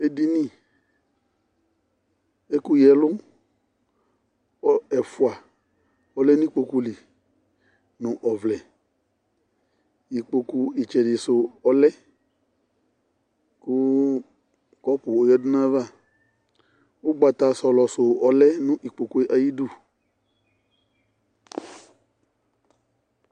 Edini kʋ ɛkʋyǝ-ɛlʋ ɛfʋa alɛ nʋ ikpoku li nʋ ɔvlɛ Ikpoku ɩtsɛdɩsu ɔlɛ kʋ kɔpʋ oyǝdu nʋ ayava Ugbata sɔlɔsu ɔlɛ nʋ ikpoku yɛ ayu ɩdʋ